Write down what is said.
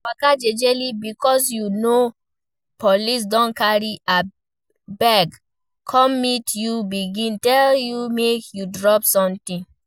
Waka jejely, before you know, police don carry gbege come meet you begin tell you make you drop something